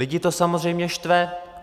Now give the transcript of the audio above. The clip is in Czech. Lidi to samozřejmě štve.